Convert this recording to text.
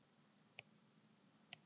kirkjan skrýðist hvítu